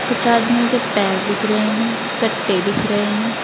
कुछ आदमी के पैर दिख रहे हैं कट्टे दिख रहे हैं।